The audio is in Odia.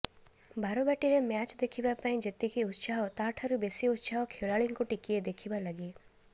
ବାରବାଟୀରେ ମ୍ୟାଚ୍ ଦେଖିବା ପାଇଁ ଯେତିକି ଉତ୍ସାହ ତାଠାରୁ ବେଶୀ ଉତ୍ସାହ ଖେଳାଳିଙ୍କୁ ଟିକିଏ ଦେଖିବା ଲାଗି